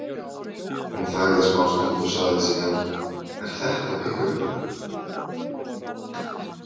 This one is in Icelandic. Hún þagði smástund og sagði síðan: Er þetta pikköpplína?